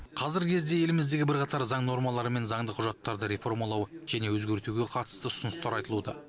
қазіргі кезде еліміздегі бірқатар заң нормалары мен заңды құжаттарды реформалау және өзгертуге қатысты ұсыныстар айтылуда